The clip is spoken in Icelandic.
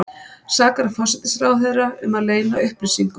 Sakar forsætisráðherra um að leyna upplýsingum